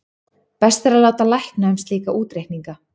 best er að láta lækna um slíka útreikninga